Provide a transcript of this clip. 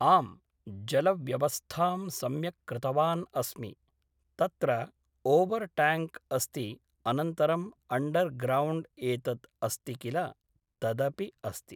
आम् जलव्यवस्थां सम्यक्‌ कृतवान् अस्मि तत्र ओवर् ट्याङ्क् अस्ति अनन्तरम् अण्डर् ग्रौण्ड् एतत् अस्ति किल तदपि अस्ति